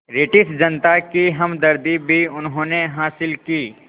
British जनता की हमदर्दी भी उन्होंने हासिल की